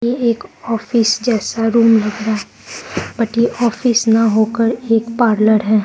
ये एक ऑफिस जैसा रूम लग रहा है बट ये ऑफिस न होकर एक पार्लर है।